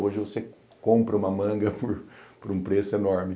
Hoje você compra uma manga por um preço enorme.